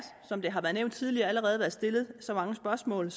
som det har været nævnt tidligere allerede været stillet mange spørgsmål